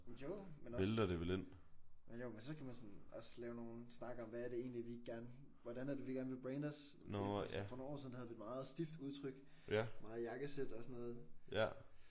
Jo men også. Men jo men så skal man sådan også lave nogle snakke om hvad er det egentlig vi gerne hvordan er det vi gerne vil brande os. For nogle år siden der havde vi et meget stift udtryk meget jakkesæt og sådan noget